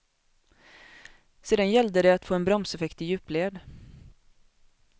Sedan gällde det att få en bromseffekt i djupled.